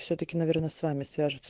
всё-таки наверное с вами свяжутся